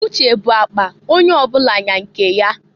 Uche bu akpa onye ọbụla nya nke ya.